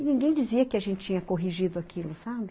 E ninguém dizia que a gente tinha corrigido aquilo, sabe?